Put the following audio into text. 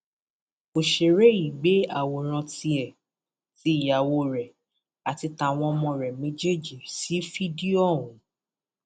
ọsẹrẹ yìí gbé àwòrán tiẹ tí ìyàwó rẹ àti àti tàwọn ọmọ rẹ méjèèjì sì fídíò ọhún